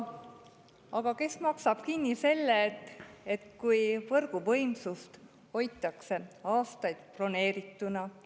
Aga kes maksab kinni selle, kui võrguvõimsust hoitakse aastaid broneerituna?